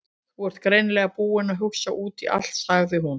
Þú ert greinilega búinn að hugsa út í allt- sagði hún.